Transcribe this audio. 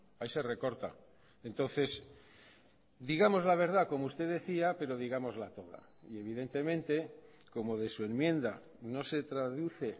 ahí se recorta entonces digamos la verdad como usted decía pero digámosla toda y evidentemente como de su enmienda no se traduce